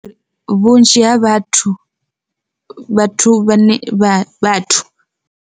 Vhunzhi ha vhathu vhathu vha ne vha vhathu.